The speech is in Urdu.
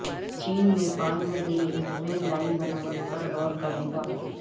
چین نیپال میں ریل لائن بنانے پر غور کرے گا